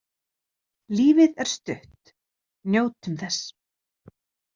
Lífið er stutt, njótum þess.